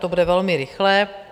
To bude velmi rychlé.